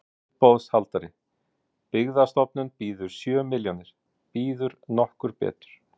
Uppboðshaldari: Byggðastofnun býður sjö milljónir, býður nokkur betur?